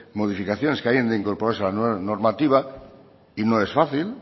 modificaciones que hayan de incorporarse en la nueva normativa y no es fácil